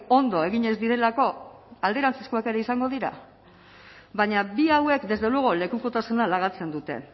ondo egin ez direlako alderantzizkoak ere izango dira baina bi hauek desde luego lekukotasuna lagatzen dute